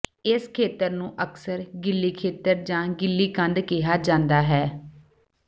ਇਸ ਖੇਤਰ ਨੂੰ ਅਕਸਰ ਗਿੱਲੀ ਖੇਤਰ ਜਾਂ ਗਿੱਲੀ ਕੰਧ ਕਿਹਾ ਜਾਂਦਾ ਹੈ